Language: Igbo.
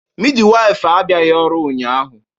Midwife abịaghị ọrụ ụnyahụ